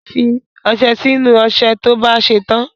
fi ọsẹ sí inú ọṣẹ to bá ṣè tàn